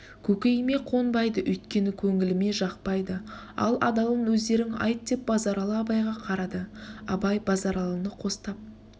көкейіме қонбайды өйткені көңіліме жақпайды ал адалын өздерің айт деп базаралы абайға қарады абай базаралыны қостап